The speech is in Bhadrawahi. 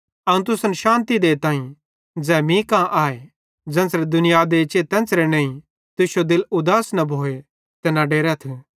अवं तुसन शान्ति देइतां ज़ै मीं कां आए ज़ेन्च़रे दुनिया देचे तेन्च़रे नईं तुश्शो दिल उदास न भोए ते न डेरथ